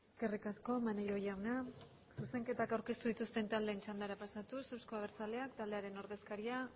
eskerrik asko maneiro jauna zuzenketak aurkeztu dituzten taldeen txandara pasatuz euzko abertzaleak taldearen ordezkaria